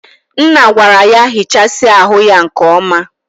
Nna gwara ya hichasia ahu ya nke oma.